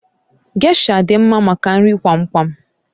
Gésha dị mma maka nri kwam kwam